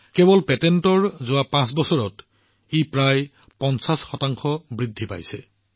কেৱল পেটেন্টৰ কথা কলে যোৱা পাঁচ বছৰত ই প্ৰায় ৫০ শতাংশ বৃদ্ধি হৈছে